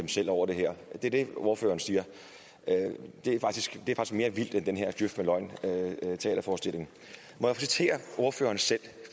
selv over det her det er det ordføreren siger er faktisk mere vildt end den her djøf med løgn teaterforestilling må jeg citere ordføreren selv